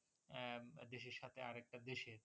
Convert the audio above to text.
আহ দেশের সাথে আরেকটা দেশের